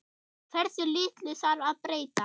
Hversu litlu þarf að breyta?